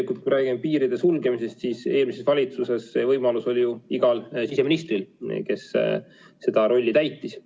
Kui me räägime piiride sulgemisest, siis eelmises valitsuses see võimalus oli ju igal siseministril, kes seda rolli täitis.